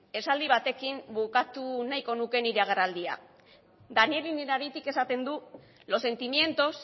esaldi batekin bukatu nahiko nuke nire agerraldia daniel innerarityk esaten du los sentimientos